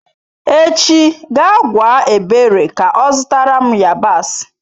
Echi gaa gwa ebere ka zụtara m yabasị.